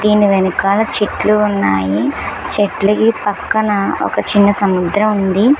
దీని వెనకాలచెట్లు ఉన్నాయి చెట్లకు పక్కన ఒక చిన్న సముద్రం ఉంది.